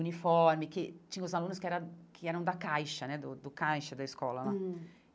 uniforme, que tinha os alunos que era que eram da caixa né, do do caixa da escola lá hum.